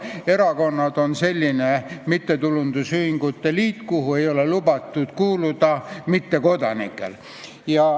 Erakonnad on selline mittetulundusühingute liik, kuhu ei ole lubatud kuuluda mittekodanikel.